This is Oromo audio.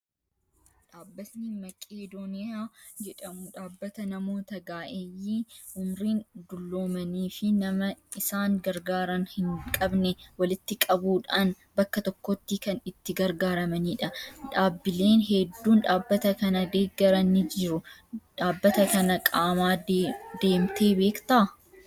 Dhaabbatni Maqeedooniyaa jedhamu dhaabbata namoota ga'eeyyii umriin dulloomanii fi nama isan gargaaran hin qabne walitti qabuudhaan bakka tokkotti kan itti gargaaramanidha. Dhaabileen hedduun dhaabbata kana deeggaran ni jiru. Dhaabbata kana qaamaa deemtee beektaa?